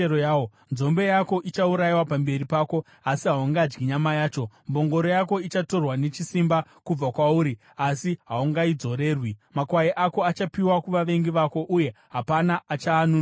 Nzombe yako ichaurayiwa pamberi pako, asi haungadyi nyama yacho. Mbongoro yako ichatorwa nechisimba kubva kwauri uye haizodzorerwi. Makwai ako achapiwa kuvavengi vako, uye hapana achaanunura.